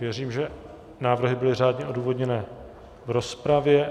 Věřím, že návrhy byly řádně odůvodněné v rozpravě.